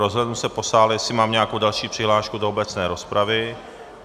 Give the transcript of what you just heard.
Rozhlédnu se po sále, jestli mám nějakou další přihlášku do obecné rozpravy.